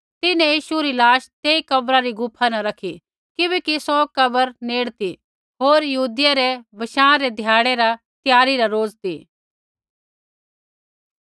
तिन्हैं यीशु री लाश तेई कब्रा री गुफा न रखी किबैकि सौ कब्र नेड़ ती होर यहूदियै री बशाँ री ध्याड़ी रा त्यारी रा रोज़ ती